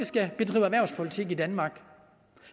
skal bedrive erhvervspolitik på i danmark